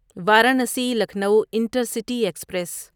Varanasi Lucknow intercity express